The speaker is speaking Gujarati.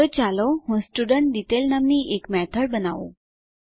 તો ચાલો હું સ્ટુડેન્ટડિટેઇલ નામની એક મેથડ બનાવું